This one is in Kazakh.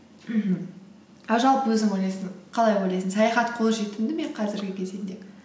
мхм а жалпы өзің қалай ойлайсың саяхат қолжетімді ме қазіргі кезеңде